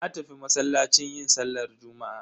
Na tafi masallaci yin sallar juma'a.